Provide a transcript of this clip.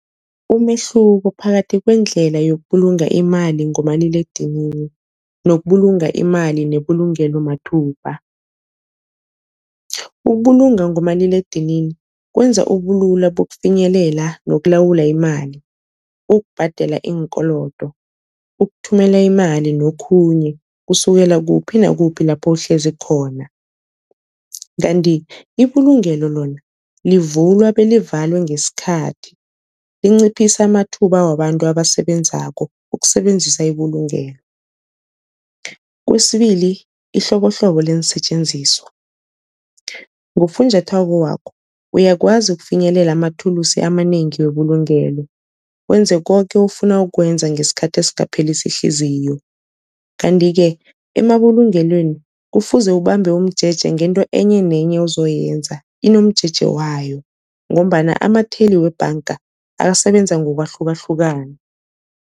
Umehluko phakathi kwendlela yokubulunga imali ngomaliledinini nokubulunga imali nebulungelo mathubha. Ukubulunga ngomaliledinini kwenza ubulula bokufinyelela nokulawula imali, ukubhadela iinkolodo, ukuthumela imali nokhunye kusukela kuphi nakuphi lapho uhlezi khona. Kanti ibulungelo lona livulwa belivalwe ngesikhathi, linciphisa amathuba wabantu abasebenzako ukusebenzisa ibulungelo. Kwesibili ihlobohlobo leensetjenziswa, ngofunjathwako wakho uyakwazi ukufinyelela amathulusi amanengi webulugelo wenze koke ofuna ukukwenza ngesikhathi esingaphelisi ihliziyo. Kanti-ke emabulungelweni kufuze ubambe umjeje ngento enye nenye ozoyenza inomjeje wayo, ngombana amatheli webhanga asebenza ngokwahlukahlukana.